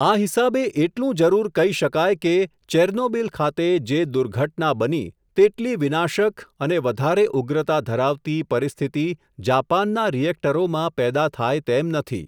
આ હિસાબે, એટલું જરુર કહી શકાય કે, ચેર્નોબીલ ખાતે, જે દુર્ઘટના બની, તેટલી વિનાશક અને વધારે ઉગ્રતા ધરાવતી, પરિસ્થિતિ, જાપાનનાં રિએક્ટરોમાં, પેદા થાય તેમ નથી.